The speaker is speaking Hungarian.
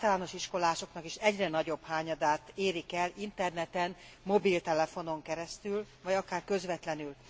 Az általános iskolásoknak is egyre nagyobb hányadát érik el interneten, mobiltelefonon keresztül, vagy akár közvetlenül.